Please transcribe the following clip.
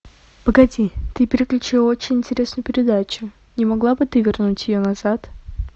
погоди ты переключила очень интересную передачу не могла бы ты вернуть ее назад